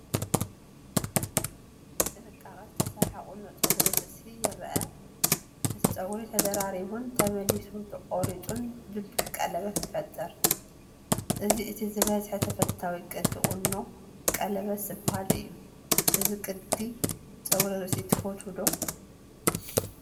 ብጥንቃቐ ዝተሰርሐ ቁኖ ጸጉሪ ርእሲ ይርአ። እቲ ጸጉሪ ተደራሪቡን ተመሊሱ ተቖሪጹን ድልዱል ቀለበት ይፈጥር። እዚ እቲ ዝበዝሐ ተፈታዊ ቅዲ ቁኖ ቀለበት ዝባሃል እዩ። እዚ ቅዲ ጸጉሪ ርእሲ ትፈትዎኦ ዶ ?